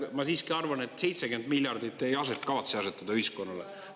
Ma siiski arvan, et 70 miljardit te ei kavatse asetada ühiskonnale.